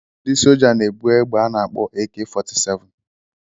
Ndị soja na ebú egbe ana akpọ AK 47